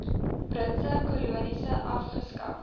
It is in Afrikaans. britse kolonies afgeskaf